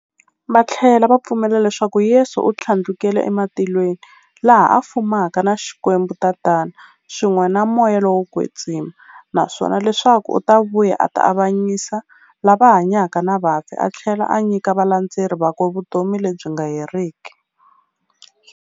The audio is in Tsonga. Vathlela va pfumela leswaku Yesu u thlandlukele ematilweni, laha a fumaka na Xikwembu-Tatana, swin'we na Moya lowo kwetsima, naswona leswaku u ta vuya a ta avanyisa lava hanyaka na vafi athlela a nyika valandzeri vakwe vutomi lebyi nga heriki.